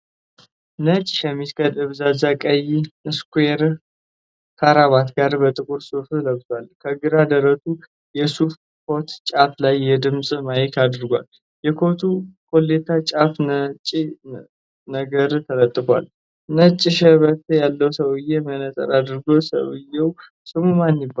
ነጭ ሸሚዝ ከደብዛዛ ቀይ ስኩየር ካራባት ጋር በጥቁር ሱፍ ለብሷል። ከግራ ደረቱ የሱፍ ኮት ጫፍ ላይ የድምፅ ማይክ አድርጓል። የኮቱ ኮሌታ ጫፍ ነጭ ነገር ተለጥፏል። ነጭ ሽበት ያለዉ ሰዉየ መነፀር አድርጓል። ሰዉየዉ ስሙ ማን ይባላል?